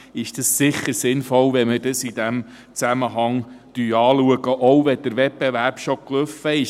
Es ist sicher sinnvoll, dies in diesem Zusammenhang anzuschauen, selbst wenn der Wettbewerb bereits gelaufen ist.